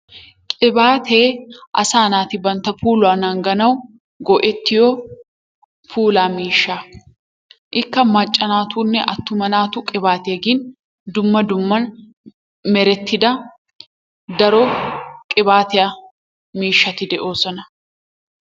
qibaatee asaa naati bantta puuluwaa nanganawu go"ettiyoo pulaa miishsha. Ikka macca naatunne attuma naatu qibbatiyaa gin dumma dumma merettida daro qibaatiyaa miishshati de"oosona.